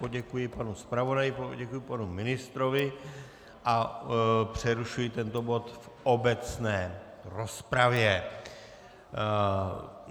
Poděkuji panu zpravodaji, poděkuji panu ministrovi a přerušuji tento bod v obecné rozpravě.